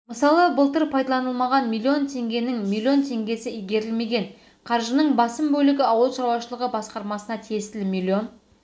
мысалы былтыр пайдаланылмаған миллион теңгенің миллион теңгесі игірелмеген қаржының басым бөлігі ауыл шаруашылығы басқармасына тиесілі миллион